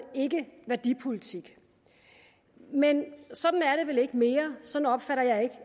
ikke værdipolitik men sådan er det vel ikke mere sådan opfatter jeg